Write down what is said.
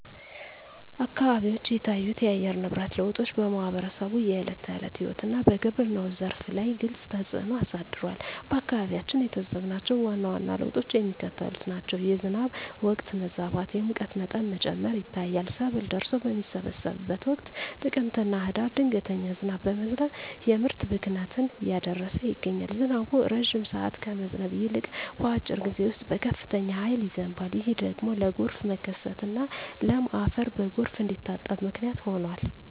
አካባቢዎች የታዩት የአየር ንብረት ለውጦች በማኅበረሰቡ የዕለት ተዕለት ሕይወትና በግብርናው ዘርፍ ላይ ግልጽ ተፅእኖ አሳድረዋል። በአካባቢያችን የታዘብናቸው ዋና ዋና ለውጦች የሚከተሉት ናቸው፦ የዝናብ ወቅት መዛባት፣ የሙቀት መጠን መጨመር ይታያል። ሰብል ደርሶ በሚሰበሰብበት ወቅት (ጥቅምትና ህዳር) ድንገተኛ ዝናብ በመዝነብ የምርት ብክነትን እያደረሰ ይገኛል። ዝናቡ ረጅም ሰዓት ከመዝነብ ይልቅ፣ በአጭር ጊዜ ውስጥ በከፍተኛ ኃይል ይዘንባል። ይህ ደግሞ ለጎርፍ መከሰትና ለም አፈር በጎርፍ እንዲታጠብ ምክንያት ሆኗል።